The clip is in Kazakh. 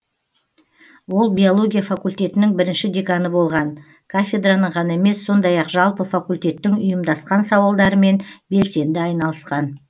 ол биология факультетінің бірінші деканы болған кафедраның ғана емес сондай ақ жалпы факультеттің ұйымдасқан сауалдарымен белсенді айналысқан